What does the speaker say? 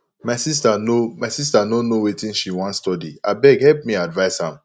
my sister no my sister no know wetin she wan study abeg help me advice am